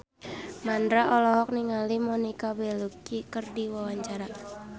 Mandra olohok ningali Monica Belluci keur diwawancara